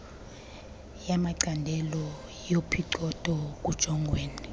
yamacandelo yophicotho kujongwene